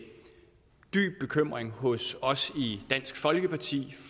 dyb bekymring hos os i dansk folkeparti